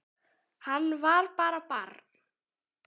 Hann var bara barn.